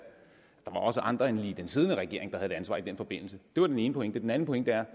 der da også andre end lige den siddende regering der har et ansvar i den forbindelse det var den ene pointe den anden pointe er